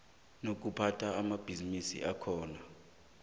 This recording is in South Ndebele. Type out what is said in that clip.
nokuphatha amabhisimisi akhona